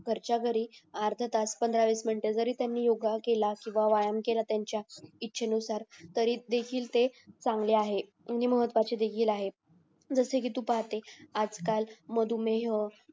घरचा घरी अर्धातास पंधरा वीस मिनटं जरी त्यानी योगा केला व्यायाम केला तरी त्यान्च्या इच्छे नुसार तर तरी देखील ते चांगले आहे महत्वाचे देखील आहे जसे कि तू पाहते आजकाल मधुमेह